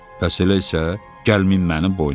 Bəs elə isə, gəlmin mənim boynuma.